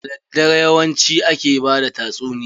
Da daddare yawanci ake bada tatsuniya.